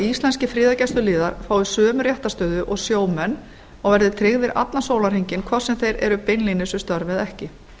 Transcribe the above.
íslenskir friðargæsluliðar fái sömu réttarstöðu og sjómenn og eru tryggðir allan sólarhringinn hvort sem þeir eru beinlínis við störf eða ekki